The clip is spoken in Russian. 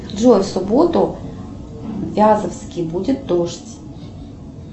джой в субботу в вязовске будет дождь